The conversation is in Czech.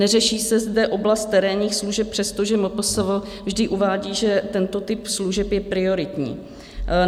Neřeší se zde oblast terénních služeb, přestože MPSV vždy uvádí, že tento typ služeb je prioritní.